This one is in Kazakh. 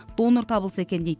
донор табылса екен дейді